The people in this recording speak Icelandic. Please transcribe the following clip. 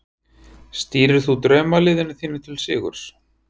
Stýrir þú draumaliðinu þínu til sigurs?